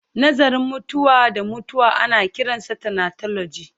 Nazarin mutuwa da mutuwa ana kiransa thanatology